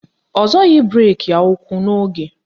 Ọ zọghị breki ya ụ́kwụ́ n'oge.